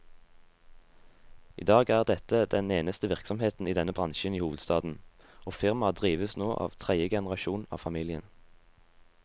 I dag er dette den eneste virksomheten i denne bransjen i hovedstaden, og firmaet drives nå av tredje generasjon av familien.